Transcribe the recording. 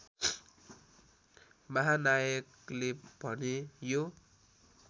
महानायकले भने यो